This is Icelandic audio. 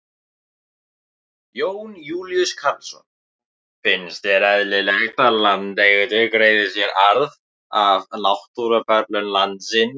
Jón Júlíus Karlsson: Finnst þér eðlilegt að landeigendur greiði sér arð af náttúruperlum landsins?